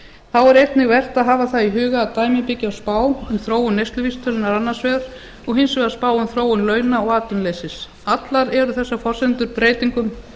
þá er einnig vert að hafa í huga að dæmin byggja á spá um þróun neysluvísitölunnar annars vegar og hins vegar spá um þróun launa og atvinnuleysis allar eru þessar forsendur breytingum